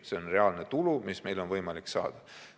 See on reaalne tulu, mida meil on võimalik saada.